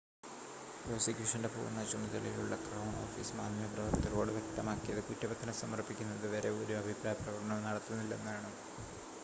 പ്രോസിക്യൂഷൻ്റെ പൂർണ്ണ ചുമതലയുള്ള crown office മാധ്യമപ്രവർത്തകരോട് വ്യക്തമാക്കിയത് കുറ്റപത്രം സമർപ്പിക്കുന്നത് വരെ ഒരു അഭിപ്രായ പ്രകടനവും നടത്തില്ലെന്നാണ്